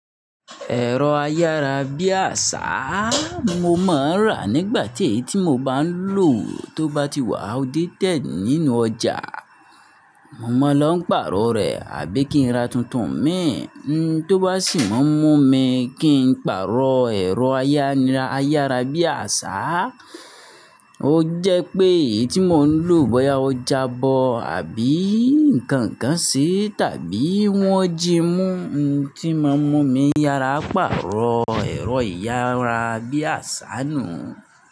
Ẹ̀rọ ayárabíàṣá, mo máa ń rà nígbà ti ẹ́yi tí mo bá ń lòó tó bá ti wà outdated nínú ọjà. Mo máa ń lọ pàrọ̀ rẹ̀ àbí kí n ra tuntun mìí. Tó bá sì má mun mi kí n pàrọ̀ ẹ̀rọ ayárabíàṣá, ó jẹ́ pé èyí tí mò ń lò bọ́yá ó jabọ́ àbí ǹkan kan ṣe tàbí wọ́n jí mú ohun tí máa mun mi yára pàrọ̀ ẹ̀rọ ayárabíàṣá nù.